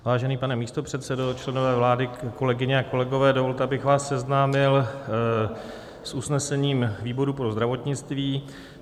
Vážený pane místopředsedo, členové vlády, kolegyně a kolegové, dovolte, abych vás seznámil s usnesením výboru pro zdravotnictví.